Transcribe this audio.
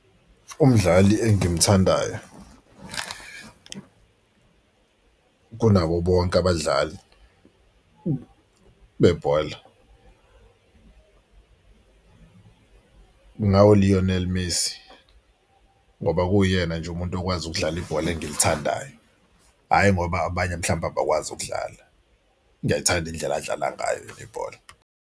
Umdlali engimthandayo kunabo bonke abadlali bebhola kungawu-Lionel Messi ngoba kuyena nje umuntu okwazi ukudlala ibhola engilithandayo. Hhayi ngoba abanye mhlawumbe abakwazi ukudlala. Ngiyayithanda indlela adlala ngayo yena ibhola.